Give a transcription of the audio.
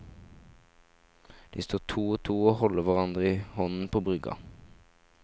De står to og to og holder hverandre i hånden på brygga.